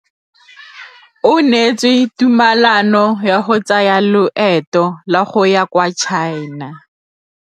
O neetswe tumalanô ya go tsaya loetô la go ya kwa China.